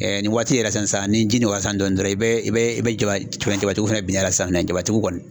nin waati yɛrɛ san sisan ni ji nɔkɔyara sisan dɔɔni dɔrɔn i bɛ i bɛ jabatigiw fɛnɛ binnen y'a la sisan jabatigiw kɔni